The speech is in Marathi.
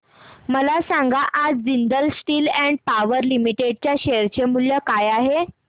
मला सांगा आज Jindal steel and power limited च्या शेअर चे मूल्य काय आहे